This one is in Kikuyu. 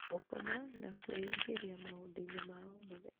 gũkoma, na kwĩingĩria maũndũ-inĩ ma o mũthenya.